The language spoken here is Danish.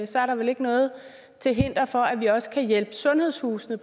så er der vel ikke noget til hinder for at vi også kan hjælpe sundhedshusene